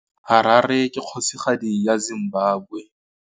Harare ke kgosigadi ya Zimbabwe.